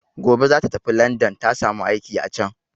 Gobe za ta tafi landan, ta samu aiki a can.